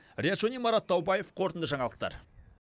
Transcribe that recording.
риат шони марат таубаев қорытынды жаңалықтар